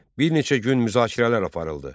Bir neçə gün müzakirələr aparıldı.